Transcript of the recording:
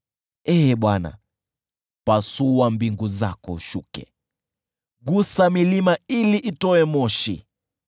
Ee Bwana , pasua mbingu zako, ushuke, gusa milima ili itoe moshi.